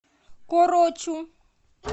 корочу